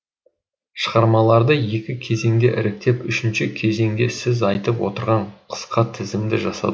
шығармаларды екі кезеңде іріктеп үшінші кезеңде сіз айтып отырған қысқа тізімді жасадық